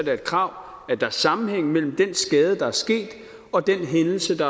er et krav at der er sammenhæng mellem den skade der er sket og den hændelse der